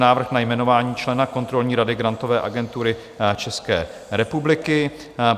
Návrh na jmenování člena kontrolní rady Grantové agentury České republiky